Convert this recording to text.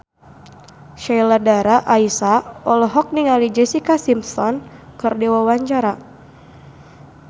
Sheila Dara Aisha olohok ningali Jessica Simpson keur diwawancara